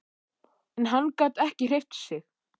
En hann gat ekki hreyft sig.